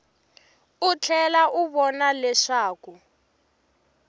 u tlhela u vona leswaku